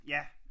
Ja